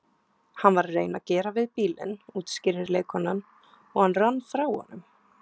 Hann var að reyna að gera við bílinn útskýrir leikkonan, og hann rann frá honum